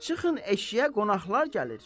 Çıxın eşiyə qonaqlar gəlir.